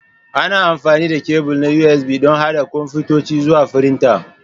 Ana amfani da kebul na USB don haɗa kwamfutoci zuwa firinta.